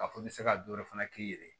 K'a fɔ i bɛ se ka dɔ wɛrɛ fana k'i yɛrɛ ye